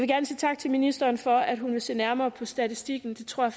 gerne sige tak til ministeren for at hun vil se nærmere på statistikken det tror